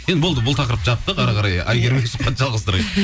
енді болды бұл тақырыпты жаптық әрі қарай әйгеріммен сұхбатты жалғастырайық